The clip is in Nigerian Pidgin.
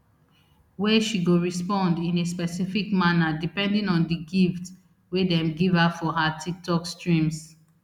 wey she go respond in a specific manner depending on di gift wey dem give her for her tiktok streams